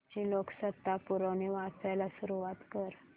आजची लोकसत्ता पुरवणी वाचायला सुरुवात कर